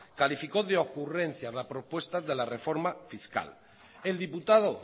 calificó de ocurrencia la propuesta de la reforma fiscal el diputado